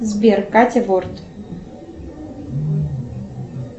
сбер катя борт